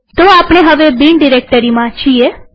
તો આપણે હવે બિન ડિરેક્ટરીમાં છીએ